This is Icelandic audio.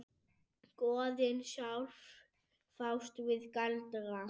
Goðin sjálf fást við galdra.